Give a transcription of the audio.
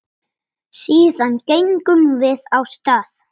Síðan gengum við af stað.